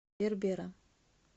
бербера